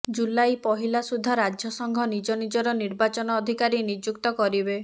ଜୁଲାଇ ପହିଲା ସୁଦ୍ଧା ରାଜ୍ୟସଂଘ ନିଜ ନିଜର ନିର୍ବାଚନ ଅଧିକାରୀ ନିଯୁକ୍ତ କରିବେ